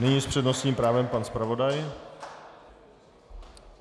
Nyní s přednostním právem pan zpravodaj.